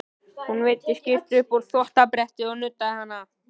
Hún veiddi skyrtu upp á þvottabrettið og nuddaði hana.